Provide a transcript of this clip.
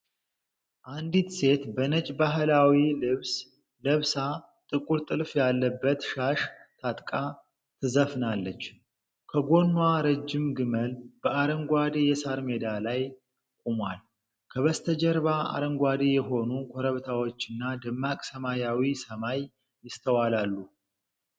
አንዲት ሴት በነጭ ባህላዊ ልብስ ለብሳ፣ ጥቁር ጥልፍ ያለበት ሻሽ ታጥቃ ትዘፍናለች። ከጎኗ ረጅም ግመል በአረንጓዴ የሣር ሜዳ ላይ ቆሟል። ከበስተጀርባ አረንጓዴ የሆኑ ኮረብታዎችና ደማቅ ሰማያዊ ሰማይ ይስተዋላሉ።